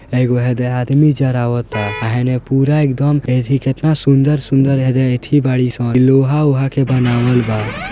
हेय एगो दे आदमी जाय रहबा ता हेय हेने पूरा एकदम देखी केतना सुंदर-सुंदर एजा अथी बाड़ी सन इ लोहा ऊहा के बनावल बा।